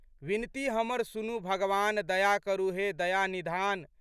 विनती हमर सुनू भगवान, दया करू हे दया निधान।